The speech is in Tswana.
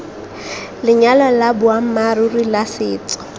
lenyalo la boammaaruri la setso